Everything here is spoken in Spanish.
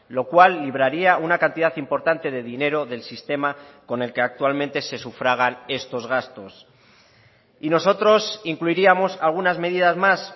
lo cual libraría una cantidad importante de dinero del sistema con el que actualmente se sufragan estos gastos y nosotros incluiríamos algunas medidas más